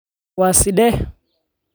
Waa sidee?